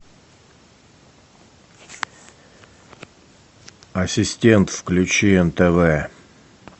ассистент включи нтв